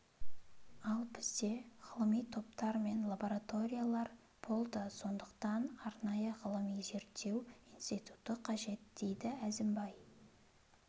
ал бізде ғылыми топтар мен лабораториялар болды сондықтан арнайы ғылыми зерттеу институты қажет дейді әзімбай